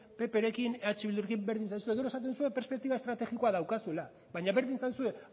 pprekin eh bildurekin berdin zaizue gero esaten duzue perspektiba estrategikoa daukazuela baina berdin zaizue